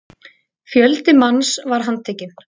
Fjöldi manns var handtekinn